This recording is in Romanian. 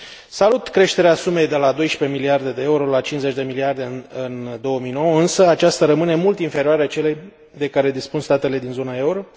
Salut creșterea sumei de la 12 miliarde de euro la 50 de miliarde în 2009, însă aceasta rămâne mult inferioară celei de care dispun statele din zona euro.